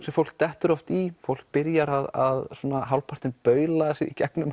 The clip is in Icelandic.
sem fólk dettur oft í fólk byrjar að hálfpartinn baula sig í gegnum